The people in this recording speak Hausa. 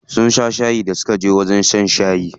Sun sha shayi da suka je wajen shan shayi.